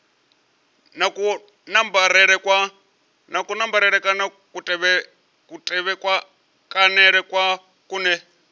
na kunambarele kana kutevhekanele kune